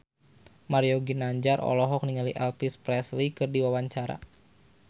Mario Ginanjar olohok ningali Elvis Presley keur diwawancara